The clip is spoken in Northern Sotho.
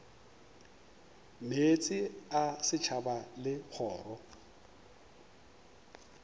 meetse a setšhaba le kgoro